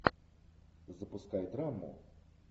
запускай драму